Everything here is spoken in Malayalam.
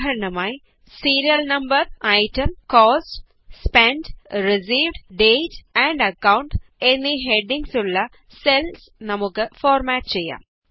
ഉദാഹരണമായി serial number item cost spent received date amp account എന്നീ ഹെഡിംഗ്സ് ഉള്ള സെല്സ് നമുക്ക് ഫോര്മാറ്റ് ചെയ്യാം